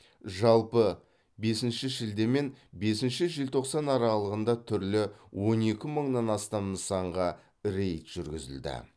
жалпы бесінші шілде мен бесінші желтоқсан аралығында түрлі он екі мыңнан астам нысанға рейд жүргізілді